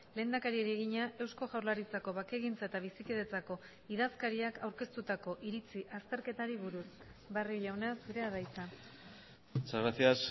lehendakariari egina eusko jaurlaritzako bakegintza eta bizikidetzako idazkariak aurkeztutako iritzi azterketari buruz barrio jauna zurea da hitza muchas gracias